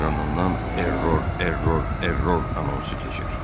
Ekranından error, error, error anonsu keçir.